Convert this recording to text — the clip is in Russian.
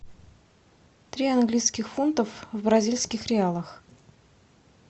три английских фунтов в бразильских реалах